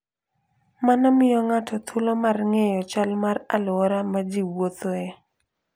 Mano miyo ng'ato thuolo mar ng'eyo chal mar alwora ma ji wuothoe.